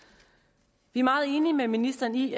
vi er meget enige med ministeren i